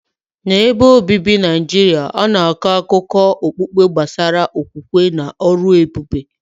N’ebe obibi ndị Naijiria, a na-akọ akụkọ okpukpe gbasara okwukwe na ọrụ ebube.